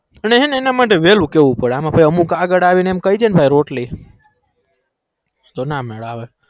અને હેના માટે વેલુ કેવું પડે એમ આગ્ર આવી ન કઈ ડે ને કે રોટલી તો ન અમેર આવે